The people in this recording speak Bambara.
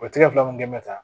O tɛ fila mun kɛ mɛ tan